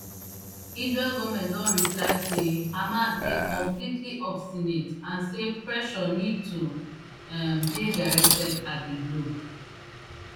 israel goment don replie say hamas dey completely obstinate and say pressure need to um dey directed at di group